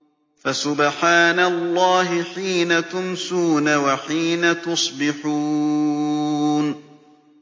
فَسُبْحَانَ اللَّهِ حِينَ تُمْسُونَ وَحِينَ تُصْبِحُونَ